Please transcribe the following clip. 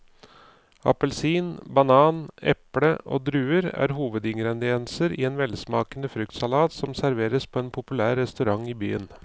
Appelsin, banan, eple og druer er hovedingredienser i en velsmakende fruktsalat som serveres på en populær restaurant i byen.